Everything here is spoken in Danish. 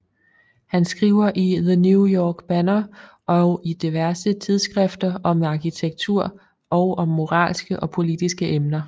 Han skriver i The New York Banner og i diverse tidsskrifter om arkitektur og om moralske og politiske emner